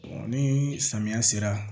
ni samiya sera